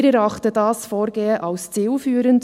Wir erachten dieses Vorgehen als zielführend.